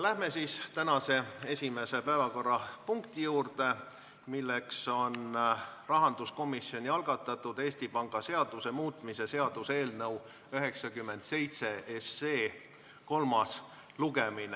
Läheme tänase esimese päevakorrapunkti juurde, milleks on rahanduskomisjoni algatatud Eesti Panga seaduse muutmise seaduse eelnõu 97 kolmas lugemine.